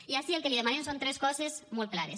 i ací el que li demanem són tres coses molt clares